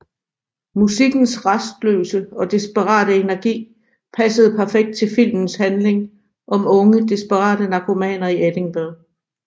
Musikkens rastløse og desperate energi passede perfekt til filmes handling om unge desperate narkomaner i Edinburgh